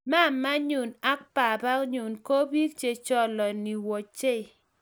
mamanyu ak babanyu kobich checholoni wechei